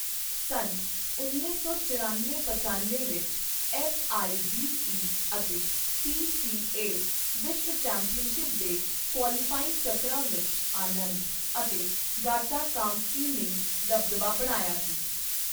ਸੰਨ ਉੱਨੀ ਸੌ ਚੱਰਨਵੇਂ ਪੱਚਨਵੇਂ ਵਿੱਚ ਐੱਫ਼. ਆਈ. ਡੀ. ਈ. ਅਤੇ ਪੀ. ਸੀ. ਏ. ਵਿਸ਼ਵ ਚੈਂਪੀਅਨਸ਼ਿਪ ਦੇ ਕੁਆਲੀਫਾਇੰਗ ਚੱਕਰਾਂ ਵਿੱਚ ਆਨੰਦ ਅਤੇ ਗਾਟਾ ਕਾਮਸਕੀ ਨੇ ਦਬਦਬਾ ਬਣਾਇਆ ਸੀ।